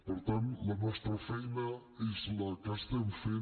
per tant la nostra feina és la que estem fent